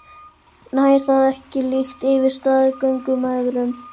Nær það ekki líka yfir staðgöngumæðrun?